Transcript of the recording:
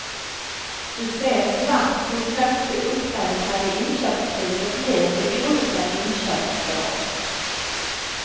Du ser snabbt hur högt det uppräknade inköpspriset blir vid olika inköpsår.